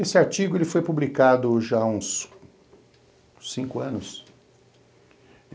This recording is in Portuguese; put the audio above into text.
Esse artigo, ele foi publicado já há uns cinco anos.